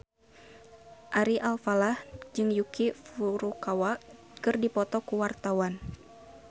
Ari Alfalah jeung Yuki Furukawa keur dipoto ku wartawan